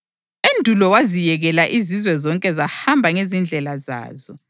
Endulo waziyekela izizwe zonke zahamba ngezindlela zazo.